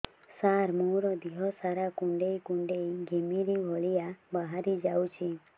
ସାର ମୋର ଦିହ ସାରା କୁଣ୍ଡେଇ କୁଣ୍ଡେଇ ଘିମିରି ଭଳିଆ ବାହାରି ଯାଉଛି